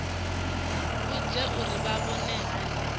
vhudze uri vha vhona hani